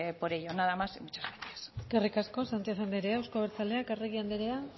por ello nada más y gracias eskerrik asko sánchez andrea euzko abertzaleak arregi andrea